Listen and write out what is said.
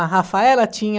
A Rafaela tinha...